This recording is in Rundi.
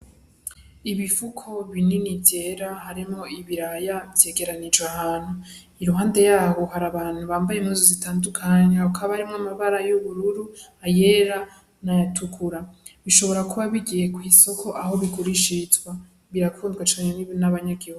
Ibifuko binini vyera harimwo ibiraya vyegeranijwe ahantu iruhande yaho hari abantu bambaye impuzu zitandukanye hakaba harimwo amabara y'ubururu ayera n'ayatukura bishobora kuba bigiye kw'isoko aho bigurishirizwa birakundwa cane n'abanyagihugu.